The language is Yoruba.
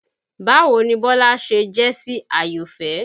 Báwo ni Bọ́lá ṣe jẹ́ sí Àyọ̀fẹ́?